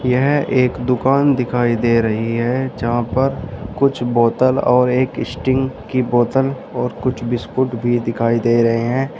यह एक दुकान दिखाई दे रही है जहां पर कुछ बोतल और एक स्टिंग की बोतल और कुछ बिस्किट भी दिखाई दे रहे हैं।